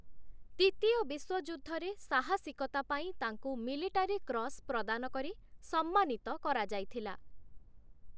ଦ୍ୱିତୀୟ ବିଶ୍ୱଯୁଦ୍ଧରେ, ସାହସିକତା ପାଇଁ ତାଙ୍କୁ ମିଲିଟାରୀ କ୍ରସ୍ ପ୍ରଦାନ କରି ସମ୍ମାନିତ କରାଯାଇଥିଲା ।